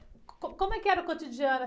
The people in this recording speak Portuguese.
Co, co, como é que era o cotidiano?